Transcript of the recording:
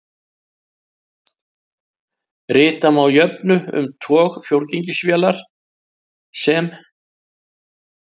Rita má jöfnu um tog fjórgengisvélar vélar sem